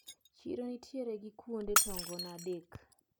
Chiro nitiere gi kuonde tongona adek.